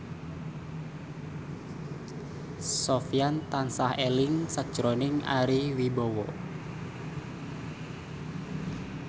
Sofyan tansah eling sakjroning Ari Wibowo